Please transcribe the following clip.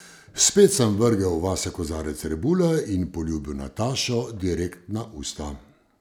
Spet sem vrgel vase kozarec rebule in poljubil Natašo direkt na usta.